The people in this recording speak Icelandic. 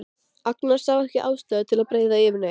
Agnar sá ekki ástæðu til að breiða yfir neitt.